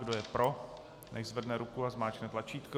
Kdo je pro, nechť zvedne ruku a zmáčkne tlačítko.